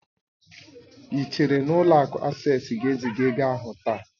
Ị chere na ụlọ akụ Asés ga-eziga ego ahụ taa?